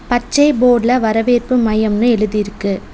பச்சை போர்டுல வரவேற்பு மையம்னு எழுதி இருக்கு.